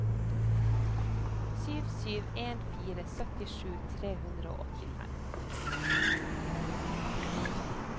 sju sju en fire syttisju tre hundre og åttifem